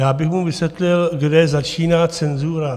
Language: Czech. Já bych mu vysvětlil, kde začíná cenzura.